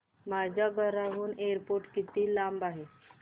माझ्या घराहून एअरपोर्ट किती लांब आहे